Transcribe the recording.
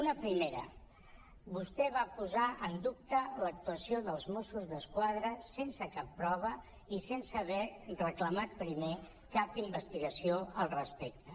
una primera vostè va posar en dubte l’actuació dels mossos d’esquadra sense cap pro·va i sense haver reclamat primer cap investigació al respecte